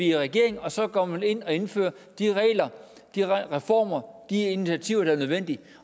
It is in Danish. i regering og så går man ind og indfører de regler de reformer de initiativer der er nødvendige